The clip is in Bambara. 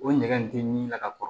O ɲɛgɛn in tɛ min ka kɔrɔ